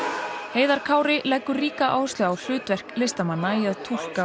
heiðar Kári leggur ríka áherslu á hlutverk listamanna í að túlka